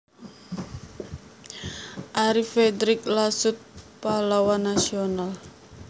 Arie Fredrik Lasut Pahlawan Nasional